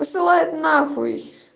посылает нахуй